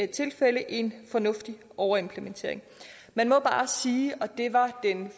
tilfælde er en fornuftig overimplementering man må bare sige og det var den